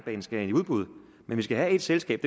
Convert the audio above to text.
skal i udbud men vi skal have et selskab